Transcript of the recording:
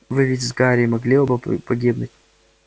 вы ведь с гарри могли оба погибнуть